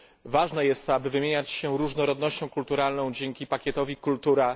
Ważne jest to, aby wymieniać się różnorodnością kulturalną dzięki pakietowi Kultura.